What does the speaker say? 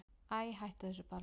Æi, hættu þessu bara.